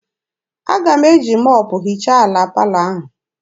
Aga m eji mọpụ hichaa ala palọ ahụ.